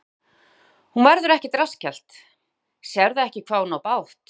Möggu: Hún verður ekkert rassskellt, sérðu ekki hvað hún á bágt?